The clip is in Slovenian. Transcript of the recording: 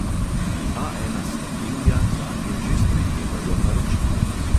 Pri A ena slovenija zanje že sprejemajo naročila.